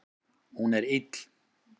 Hún er ill.